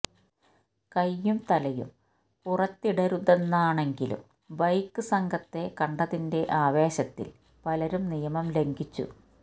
കൈയും തലയും പുറത്തിടരുതെന്നാണെങ്കിലും ബൈക്ക് സംഘത്തെ കണ്ടതിന്റെ ആവേശത്തിൽ പലരും നിയമം ലംഘിച്ചു